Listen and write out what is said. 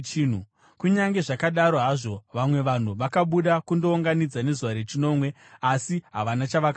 Kunyange zvakadaro hazvo, vamwe vanhu vakabuda kundounganidza nezuva rechinomwe, asi havana chavakawana.